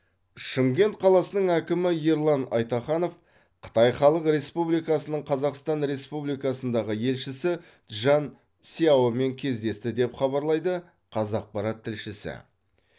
шымкент қаласының әкімі ерлан айтаханов қытай халық республикасының қазақстан республикасындағы елшісі чжан сяомен кездесті деп хабарлайды қазақпарат тілшісі